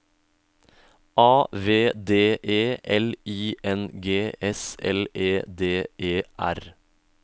A V D E L I N G S L E D E R